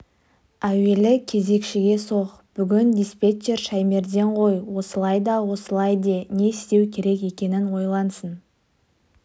әуелі кезекшіге соқ бүгін диспетчер шаймерден ғой осылай да осылай де не істеу керек екенін ойлансын